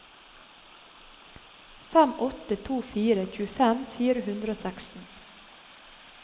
fem åtte to fire tjuefem fire hundre og seksten